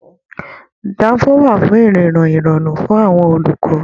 Danfo wà fún irinna irọrun fún àwọn olùkọ.